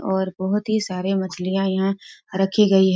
और बहुत हीं सारे मछलियां यहाँ रखी गई हैं।